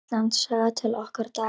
Íslandssaga: til okkar daga.